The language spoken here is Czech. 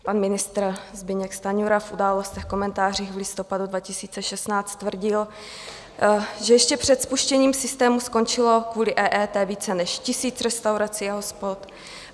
Pan ministr Zbyněk Stanjura v Událostech, komentářích v listopadu 2016 tvrdil, že ještě před spuštěním systému skončilo kvůli EET více než tisíc restaurací a hospod.